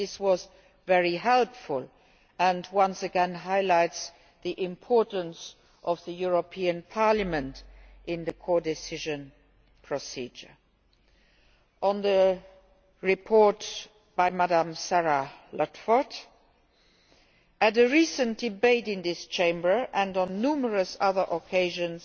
This was very helpful and it once again highlights the importance of the European Parliament in the co decision procedure. On the report by Sarah Ludford at a recent debate in this chamber, and on numerous other occasions,